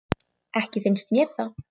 Ekki finnst mér það.